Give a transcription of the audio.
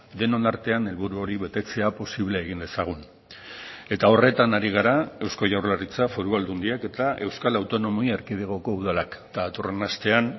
denon artean helburu hori betetzea posible egin dezagun eta horretan ari gara eusko jaurlaritza foru aldundiak eta euskal autonomi erkidegoko udalak eta datorren astean